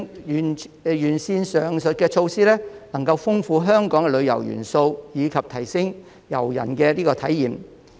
完善上述措施能豐富香港旅遊元素，以及提升遊人的體驗。